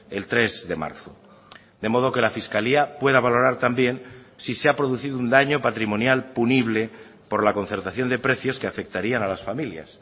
el tres de marzo de modo que la fiscalía pueda valorar también si se ha producido un daño patrimonial punible por la concertación de precios que afectarían a las familias